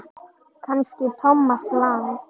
Kannski Thomas Lang.?